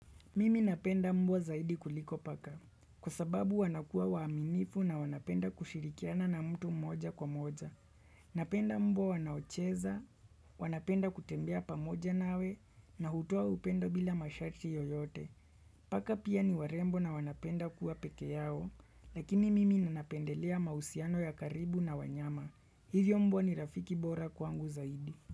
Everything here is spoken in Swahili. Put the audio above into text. Mimi napenda mbwa zaidi kuliko paka, kwa sababu wanakuwa waaminifu na wanapenda kushirikiana na mtu mmoja kwa moja. Napenda mbwa wanaocheza, wanapenda kutembea pamoja nawe, na hutoa upendo bila mashati yoyote. Paka pia niwarembo na wanapenda kuwa pekee yao, lakini mimi ninapendelea mahusiano ya karibu na wanyama. Hivyo mbwa ni rafiki bora kwangu zaidi.